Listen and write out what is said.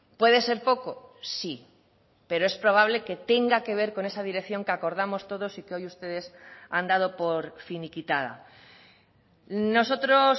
puede ser poco sí pero es probable que tenga que ver con esa dirección que acordamos todos y que hoy ustedes han dado por finiquitada nosotros